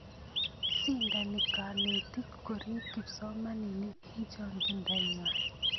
shindani kanetik korip kipsomaninik eng chongindo nguay